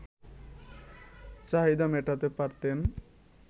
চাহিদা মেটাতে পারতেন